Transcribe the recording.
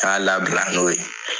Y'a labila n'o ye.